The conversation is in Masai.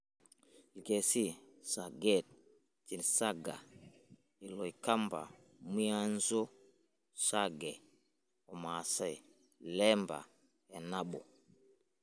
Ikesii; Sageet/Chinsaga, Iloikamba; Mwianzo/Sage oo rmaasae; Lemba-e nabo.